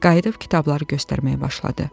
Qayıdıb kitabları göstərməyə başladı.